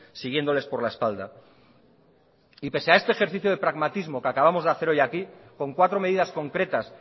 siguiéndoles por la espalda y pese a este ejercicio de pragmatismo que acabamos de hacer hoy aquí con cuatro medidas concretas